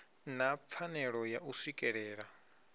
na pfanelo ya u swikelela